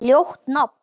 Ljótt nafn.